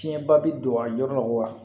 Tiɲɛn ba bi don a yɔrɔ la